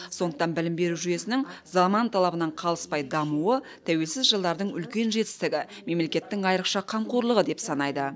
сондықтан білім беру жүйесінің заман талабынан қалыспай дамуы тәуелсіз жылдардың үлкен жетістігі мемлекеттің айрықша қамқорлығы деп санайды